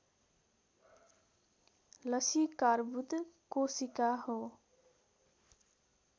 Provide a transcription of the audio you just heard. लसीकार्बुद कोशिका हो